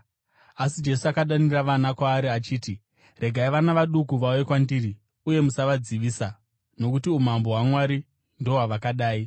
Asi Jesu akadana vana kwaari achiti, “Regai vana vaduku vauye kwandiri, uye musavadzivisa, nokuti umambo hwaMwari ndohwavakadai.